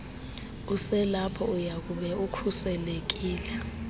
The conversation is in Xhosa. uselapho uyakube ukhuselekile